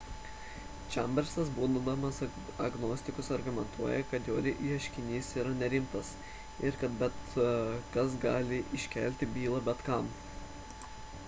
chambersas būdamas agnostikas argumentuoja kad jo ieškinys yra nerimtas ir kad bet kas gali iškelti bylą bet kam